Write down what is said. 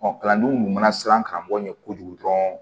Ɔ kalandenw tun mana siran karamɔgɔ ɲɛ kojugu dɔrɔn